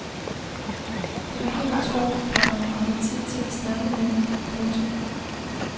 Det var helt utroligt, komma at han havde tid til at snakke med mig. punktum